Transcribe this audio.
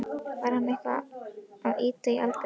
Var hann eitthvað að ýta á Albert?